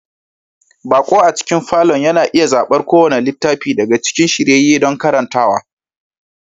Baƙo a cikin falon yana iya zaɓar kowane littafi daga cikin shiryayye don karantawa